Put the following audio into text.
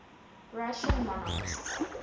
russian monarchists